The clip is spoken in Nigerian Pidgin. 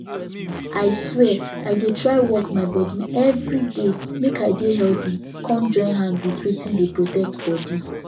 i swear i dey try work my body everyday make i dey healthy come join hand with wetin dey protect bodi